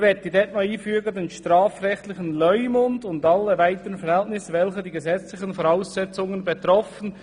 Dort möchten wir einfügen «über den strafrechtlichen Leumund und alle weiteren Verhältnisse, welche die gesetzlichen Voraussetzungen betreffen.